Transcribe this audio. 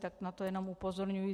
Tak na to jen upozorňuji.